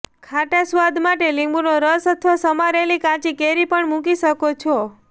ખાટા સ્વાદમાટે લીંબુનો રસ અથવા સમારેલી કાચી કેરી પણ મૂકી શકો છો